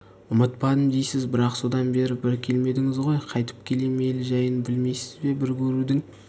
ұмытпадым дейсіз бірақ содан бері бір келмедіңіз ғой қайтіп келем ел жәйін білмейсіз бе бір көрудің